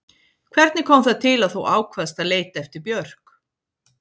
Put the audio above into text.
Hvernig kom það til að þú ákvaðst að leita eftir Björk?